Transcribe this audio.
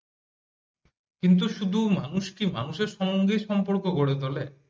কিন্তু মানুষকি শুধু মানুষের সাথে সম্পর্ক গড়ে তোলে